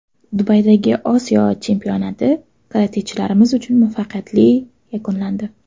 Dubaydagi Osiyo chempionati karatechilarimiz uchun muvaffaqiyatli yakunlandi.